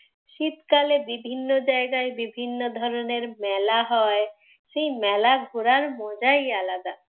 শীতকালে বিভিন্ন জায়গায় বিভিন্ন ধরনের মেলা হয়, সেই মেলা ঘোরার মজাই আলাদা।